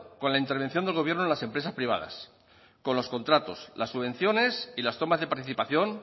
con la intervención del gobierno en las empresas privadas con los contratos las subvenciones y las tomas de participación